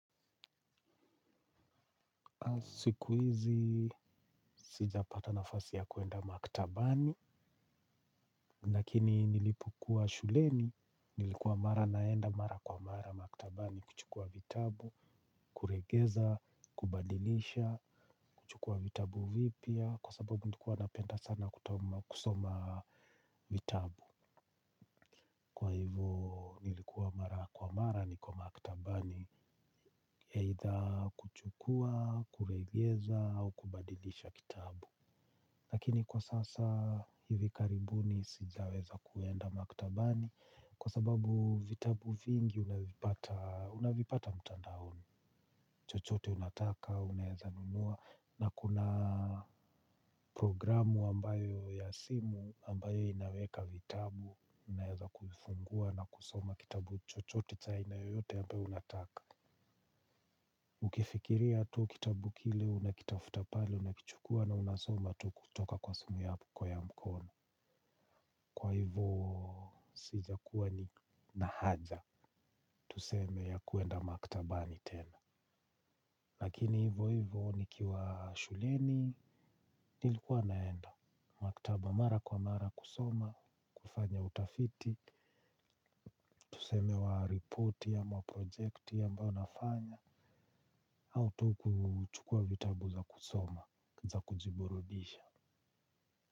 Siku hizi, sijapata nafasi ya kuenda maktabani, lakini nilipokuwa shuleni nilikuwa mara naenda mara kwa mara maktabani kuchukua vitabu, kurejesha kubadilisha, kuchukua vitabu vipya, kwa sababu nilikuwa napenda sana kusoma vitabu kwa hivyo ilikuwa mara kwa mara niko maktabani either kuchukua kurejesha ama kubadilisha vitabu lakini kwa sasa, hivi karibuni sitaweza kuenda maktabani, kwasababu vitabu vingi utavipata mitandaoni chochote unataka unaweza nunua, kuna progrmu ambayo ya simu ambayo inaweka vitabu unaweza kuifungua na kusoma kitabu chochote cha aina yoyote ambayo unataka ukifikiria tu kitabu kile unakitafuta pale, unakichukua na unasoma tu kutoka kwa simu yako ya mkono kwa hivyo sijakuwa ninahaja tuseme ya kuenda maktabani tena, lakini hivyo hivyo nikiwa shuleni nilikuwa naenda maktaba mara kwa mara kusoma, kufanya utafiti. Tuseme wa report ama projekti ya mbayo nafanya. Au tu kuchukua vitabu za kusoma, za kujiburudisha.